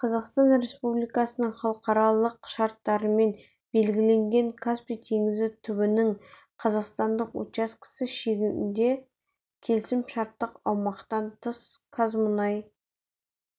қазақстан республикасының халықаралық шарттарымен белгіленген каспий теңізі түбінің қазақстандық учаскесі шегінде келісім-шарттық аумақтан тыс мұнай-газ